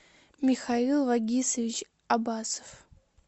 михаил вагисович аббасов